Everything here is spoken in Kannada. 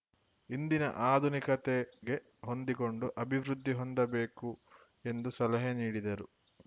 ಇಂದಿನ ಆಧುನಿಕತೆಗೆ ಹೊಂದಿಕೊಂಡು ಅಭಿವೃದ್ಧಿ ಹೊಂದಬೇಕು ಎಂದು ಸಲಹೆ ನೀಡಿದರು